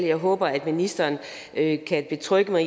jeg håber at ministeren kan betrygge mig